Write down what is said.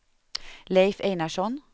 Leif Einarsson